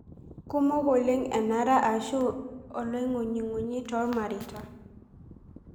Kumok oleng' enare arashu oloing'unyung'unyi toormareita